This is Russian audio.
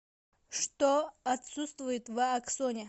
что отсутствует в аксоне